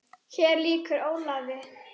Hér lýkur Ólafi.